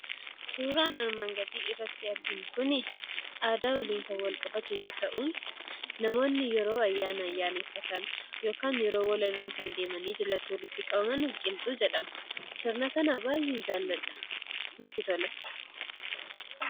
Suuraan armaan gaditti arginu kun aadaa waliin kan walqabatu yoo ta'u, namoonni yeroo ayyaana ayyaneffatan yookaan yeroo wallolan deemanii kan jalatti walitti qabaman "Qilxuu" jedhama. Sirna kana baay'een jaalladha: natti tolas.